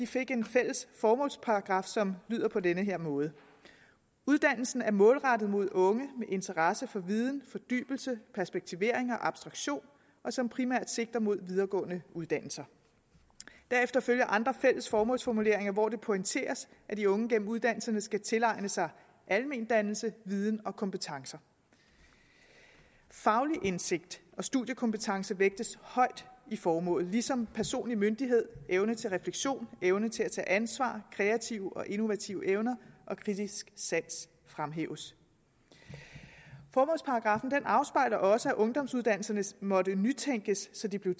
fik en fælles formålsparagraf som lyder på denne måde uddannelsen er målrettet mod unge med interesse for viden fordybelse perspektivering og abstraktion og som primært sigter mod videregående uddannelse derefter følger andre fælles formålsformuleringer hvor det pointeres at de unge gennem uddannelserne skal tilegne sig almendannelse viden og kompetencer faglig indsigt og studiekompetence vægtes højt i formålet ligesom personlig myndighed evne til refleksion evne til at tage ansvar kreative og innovative evner og kritisk sans fremhæves formålsparagraffen afspejler også at ungdomsuddannelserne måtte nytænkes så de blev